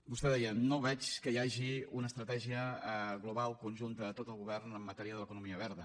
vostè deia no veig que hi hagi una estratègia global conjunta de tot el govern en matèria de l’economia verda